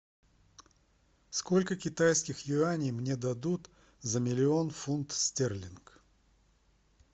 сколько китайских юаней мне дадут за миллион фунтов стерлингов